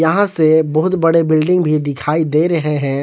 यहां से बहुत बड़े बिल्डिंग भी दिखाई दे रहे हैं।